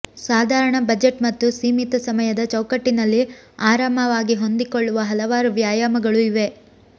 ಸಾಧಾರಣ ಬಜೆಟ್ ಮತ್ತು ಸೀಮಿತ ಸಮಯದ ಚೌಕಟ್ಟಿನಲ್ಲಿ ಆರಾಮವಾಗಿ ಹೊಂದಿಕೊಳ್ಳುವ ಹಲವಾರು ವ್ಯಾಯಾಮಗಳು ಇವೆ